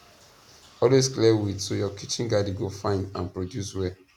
always clear weed so your kitchen garden go fine and produce well